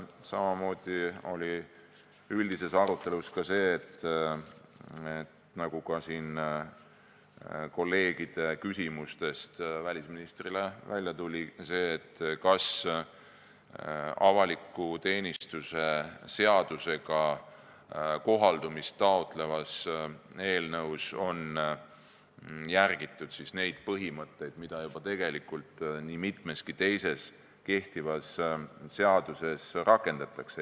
Samamoodi oli arutelu all see, nagu ka siin kolleegide küsimustest välisministrile välja tuli, kas avaliku teenistuse seaduse suhtes kohaldumist taotlevas eelnõus on järgitud neid põhimõtteid, mida juba nii mitmeski kehtivas seaduses rakendatakse.